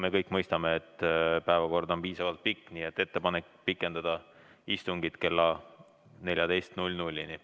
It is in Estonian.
Me kõik mõistame, et päevakord on piisavalt pikk, nii et ettepanek on pikendada istungit kella 14-ni.